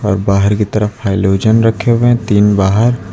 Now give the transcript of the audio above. और बाहर की तरफ हैलोजन रखे हुए तीन बाहर --